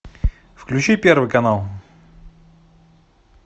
включи первый канал